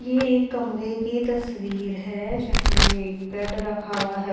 ये एक कमरे की तस्वीर है जहां ये एक बेड रखा हुआ है।